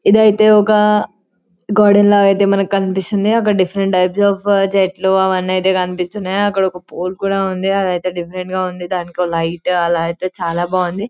ఇదైతే ఒక గార్డెన్ల లా ఐతే మనకు కనిపిస్తుంది ఒక డిఫరెంట్ టైప్స్ అఫ్ చెట్లు అవన్నీ ఐతే కనిపిస్తున్నాయ్ అక్కడైతే ఒక పోల్ కూడా ఉంది అదైతే డిఫరెంట్ గా ఉంది దానికో లైట్ ఆలా ఐతే చాలా బాగుంది